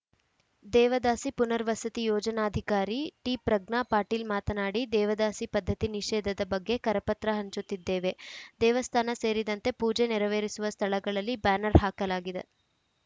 ದೇವದಾಸಿ ಪುನರ್ವಸತಿ ಯೋಜನಾಧಿಕಾರಿ ಟಿಪ್ರಜ್ಞಾ ಪಾಟೀಲ್‌ ಮಾತನಾಡಿ ದೇವದಾಸಿ ಪದ್ಧತಿ ನಿಷೇಧದ ಬಗ್ಗೆ ಕರಪತ್ರ ಹಂಚುತ್ತಿದ್ದೇವೆ ದೇವಸ್ಥಾನ ಸೇರಿದಂತೆ ಪೂಜೆ ನೆರವೇರಿಸುವ ಸ್ಥಳಗಳಲ್ಲಿ ಬ್ಯಾನರ್‌ ಹಾಕಲಾಗಿದೆ